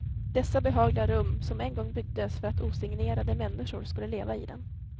Dessa behagliga rum, som en gång byggdes för att osignerade människor skulle leva i dem.